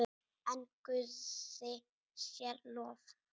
En Guði sé lof.